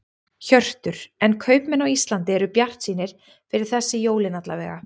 Hjörtur: En kaupmenn á Íslandi eru bjartsýnir fyrir þessi jólin alla vega?